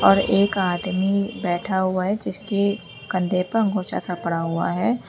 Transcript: और एक आदमी बैठा हुआ है जिसके कंधे पर अंगोछा सा पड़ा हुआ है।